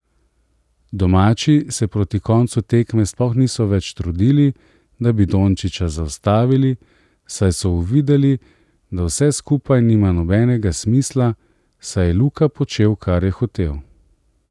Domači se proti koncu tekme sploh niso več trudili, da bi Dončiča zaustavili, saj so uvideli, da vse skupaj nima nobenega smisla, saj je Luka počel kar je hotel.